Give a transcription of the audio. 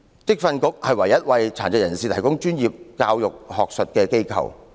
職訓局是唯一為殘疾人士提供專業教育的學術機構。